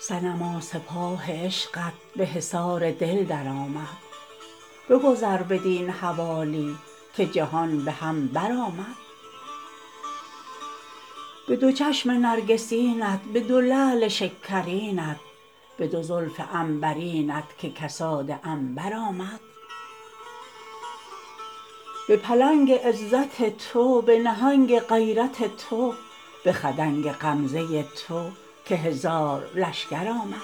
صنما سپاه عشقت به حصار دل درآمد بگذر بدین حوالی که جهان به هم برآمد به دو چشم نرگسینت به دو لعل شکرینت به دو زلف عنبرینت که کساد عنبر آمد به پلنگ عزت تو به نهنگ غیرت تو به خدنگ غمزه تو که هزار لشکر آمد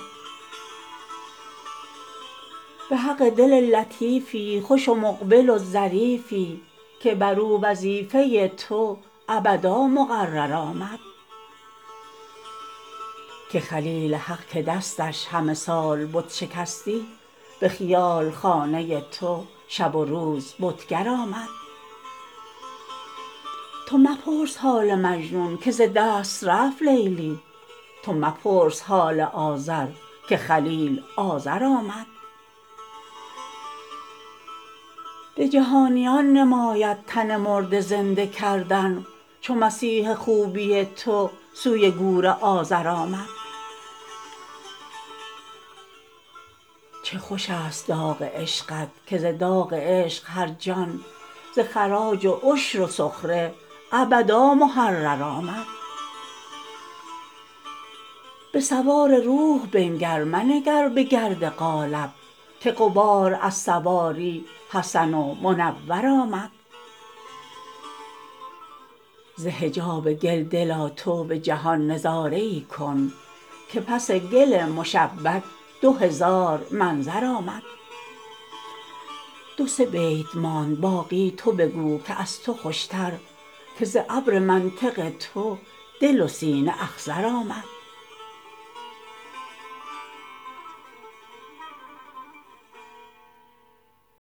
به حق دل لطیفی خوش و مقبل و ظریفی که بر او وظیفه تو ابدا مقرر آمد که خلیل حق که دستش همه سال بت شکستی به خیال خانه تو شب و روز بتگر آمد تو مپرس حال مجنون که ز دست رفت لیلی تو مپرس حال آزر که خلیل آزر آمد به جهانیان نماید تن مرده زنده کردن چو مسیح خوبی تو سوی گور عازر آمد چه خوش است داغ عشقت که ز داغ عشق هر جان ز خراج و عشر و سخره ابدا محرر آمد به سوار روح بنگر منگر به گرد قالب که غبار از سواری حسن و منور آمد ز حجاب گل دلا تو به جهان نظاره ای کن که پس گل مشبک دو هزار منظر آمد دو سه بیت ماند باقی تو بگو که از تو خوشتر که ز ابر منطق تو دل و سینه اخضر آمد